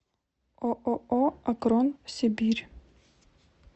ооо акрон сибирь